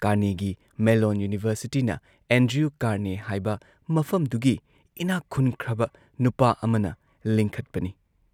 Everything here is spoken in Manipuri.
ꯀꯥꯔꯅꯦꯒꯤ ꯃꯦꯜꯂꯣꯟ ꯌꯨꯅꯤꯚꯔꯁꯤꯇꯤꯅ ꯑꯦꯟꯗ꯭ꯔꯤꯌꯨ ꯀꯥꯔꯅꯦ ꯍꯥꯏꯕ ꯃꯐꯝꯗꯨꯒꯤ ꯏꯅꯥꯛ ꯈꯨꯟꯈ꯭ꯔꯕ ꯅꯨꯄꯥ ꯑꯃꯅ ꯂꯤꯡꯈꯠꯄꯅꯤ ꯫